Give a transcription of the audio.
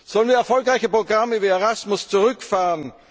Sollen wir erfolgreiche Programme wie ERASMUS zurückfahren?